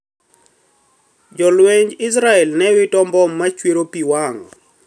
Jolwenj Israel ne wito mbom ma chwero pi wang'